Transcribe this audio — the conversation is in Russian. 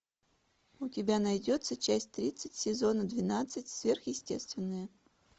у тебя найдется часть тридцать сезона двенадцать сверхъестественное